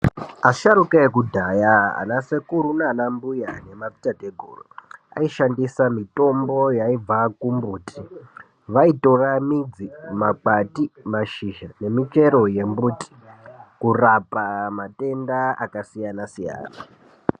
Asharukwa ekudhaya, anasekuru, anambuya nemadzitateguru, aishandisa mitombo yaibva kumbuti. Vaitora midzi, makwati, mashizha nemichero yemimbuti kurapa matenda akasiyana-siyana.